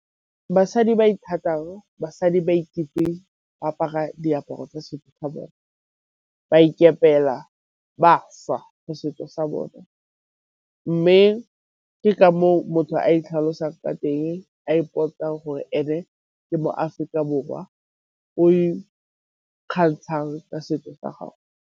Basadi ba ithatang, basadi ba ikitseng ba apara diaparo tsa setso sa bone, ba ikepela bašwa ka setso sa bone. Mme ke ka foo motho a itlhalosang ka teng a ipontshang gore e ne ke mo-Aforika Borwa o ikgantshang ka setso sa gagwe.